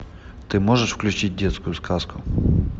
ты можешь включить детскую сказку